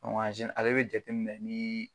ale be jateminɛ ni